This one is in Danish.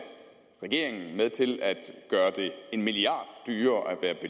regeringen med til at gøre det en milliard dyrere at